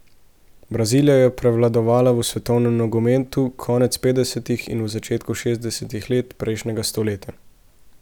Brazilija je prevladovala v svetovnem nogometu konec petdesetih in v začetku šestdesetih let prejšnjega stoletja.